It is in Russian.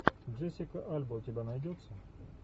джессика альба у тебя найдется